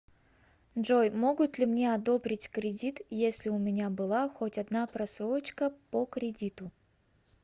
джой могут ли мне одобрить кредит если у меня была хоть одна просрочка по кредиту